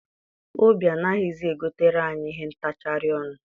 Obi anaghịzi egotere anyị ihe ntachari ọnụ.